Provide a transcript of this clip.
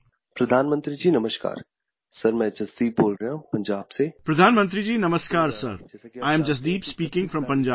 "Pradhan Mantriji namaskar, Sir, I am Jasdeep speaking from Punjab